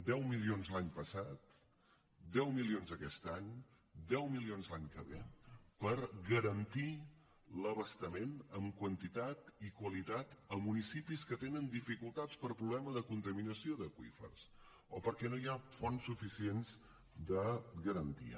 deu milions l’any passat deu milions aquest any deu milions l’any que ve per garantir l’abastament en quantitat i qualitat a municipis que tenen dificultats per problema de contaminació d’aqüífers o perquè no hi ha fonts suficients de garantia